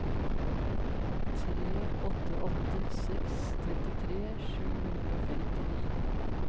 tre åtte åtte seks trettitre sju hundre og femtini